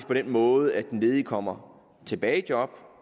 den måde at den ledige kommer tilbage i job